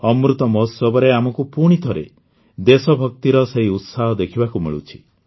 ଅମୃତ ମହୋତ୍ସବରେ ଆମକୁ ପୁଣିଥରେ ଦେଶଭକ୍ତିର ସେହି ଉତ୍ସାହ ଦେଖିବାକୁ ମିଳୁଛି